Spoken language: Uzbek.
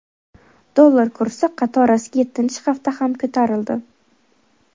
Dollar kursi qatorasiga yettinchi hafta ham ko‘tarildi.